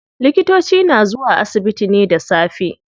Likitoci na zuwa asibiti ne da safe.